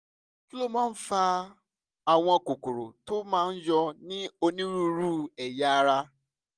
kí ló máa ń fa àwọn kókó tó máa ń yọ ní onírúurú ẹ̀yà ara?